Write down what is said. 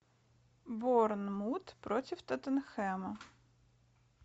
борнмут против тоттенхэма